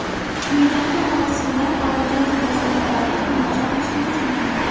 Quyidagi marosimdan olingan fotosuratlarni tomosha qilishingiz mumkin.